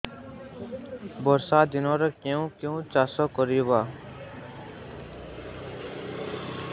ବର୍ଷା ଦିନରେ କେଉଁ କେଉଁ ପରିବା ଚାଷ କରିବା